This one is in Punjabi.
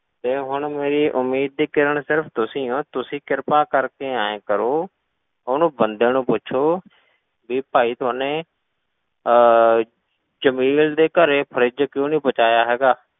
ਤੇ ਹੁਣ ਮੇਰੀ ਉਮੀਦ ਦੀ ਕਿਰਣ ਸਿਰਫ਼ ਤੁਸੀਂ ਹੋ, ਤੁਸੀਂ ਕਿਰਪਾ ਕਰਕੇ ਇਉਂ ਕਰੋ, ਉਹਨੂੰ ਬੰਦੇ ਨੂੰ ਪੁੱਛੋ ਵੀ ਭਾਈ ਥੋਨੇ ਅਹ ਜਮੇਲ ਦੇ ਘਰੇ fridge ਕਿਉਂ ਨੀ ਪਹੁੰਚਾਇਆ ਹੈਗਾ,